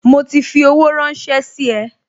Mo ti fi owó ranse sí e